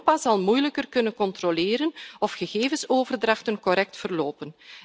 Europa zal moeilijker kunnen controleren of gegevensoverdrachten correct verlopen.